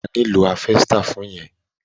O máa nílò háfẹ́stà fún yẹn.